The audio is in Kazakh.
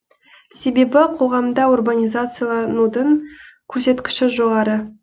себебі қоғамда урбанизацияланудың көрсеткіші жоғары